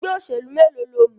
Ẹgbẹ́ òṣèlú mélòó lo mọ̀?